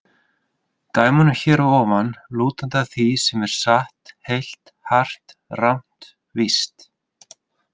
Í dæmunum hér að ofan: lútandi að því sem er satt, heilt, hart, rangt, víst.